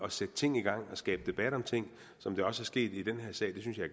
at sætte ting i gang og skabe debat om ting som det også er sket i den her sag det synes jeg